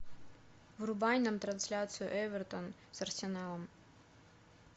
врубай нам трансляцию эвертон с арсеналом